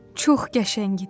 Çox qəşəng idi.